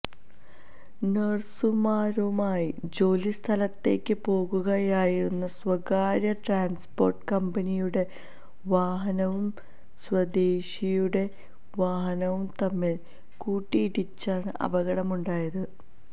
നേഴ്സുമാരുമായി ജോലി സ്ഥലത്തേക്ക് പോകുകയായിരുന്ന സ്വകാര്യ ട്രാൻപോർട്ട് കമ്പനിയുടെ വാഹനവും സ്വദേശിയുടെ വാഹനവും തമ്മിൽ കൂട്ടിയിടിച്ചാണു അപകടമുണ്ടായത്